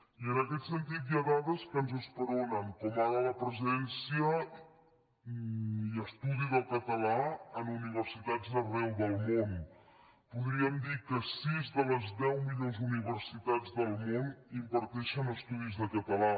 i en aquest sentit hi ha dades que ens esperonen com ara la presència i estudi del català en universitats d’arreu del món podríem dir que sis de les deu millors universitats del món imparteixen estudis de català